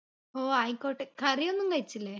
ഓ ആയിക്കോട്ടെ curry യൊന്നും വെച്ചില്ലേ